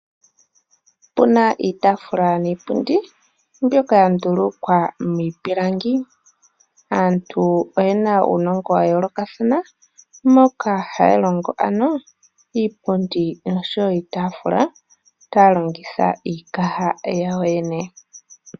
Opuna iitaafula niipundi ndjoka ya ndulukwa miipilangi, aantu oyena uunongo wa yoolokathana moka haya longo ano iipundi noshowo iitaafula taya longitha iikaha yawo yo yene.